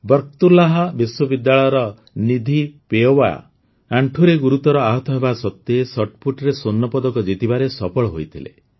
ବର୍କତୁଲ୍ଲାହ ବିଶ୍ୱବିଦ୍ୟାଳୟର ନିଧି ପୱେୟା ଆଣ୍ଠୁରେ ଗୁରୁତର ଆହତ ହେବା ସତ୍ତ୍ୱେ ଶଟ୍ପୁଟ୍ରେ ସ୍ୱର୍ଣ୍ଣପଦକ ଜିତିବାରେ ସଫଳ ହୋଇଥିଲେ